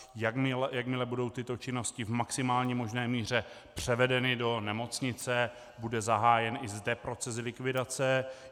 Jakmile budou tyto činnosti v maximální možné míře převedeny do nemocnice, bude zahájen i zde proces likvidace.